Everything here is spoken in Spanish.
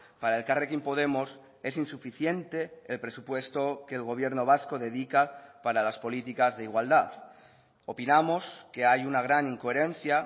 para elkarrekin podemos es insuficiente el presupuesto que el gobierno vasco dedica para las políticas de igualdad opinamos que hay una gran incoherencia